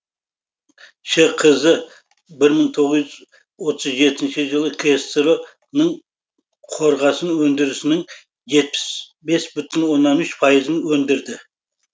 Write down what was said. шқз бір мың тоғыз жүз отыз жетінші жылы ксро ның қорғасын өндірісінің жетпіс бес бүтін оннан үш пайызын өндірді